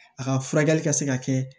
A ka furakɛli ka se ka kɛ